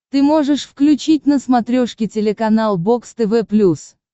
ты можешь включить на смотрешке телеканал бокс тв плюс